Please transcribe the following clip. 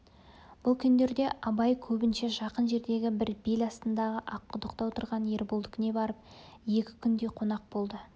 бұл күндерде абай көбінше жақын жердегі бір бел астындағы аққұдықта отырған ерболдікіне барып екі күндей қонақ болды